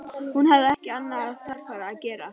Hún hafði ekki annað þarfara að gera.